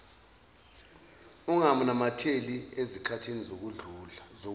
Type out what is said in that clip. unganamatheli ezikhathini zokudla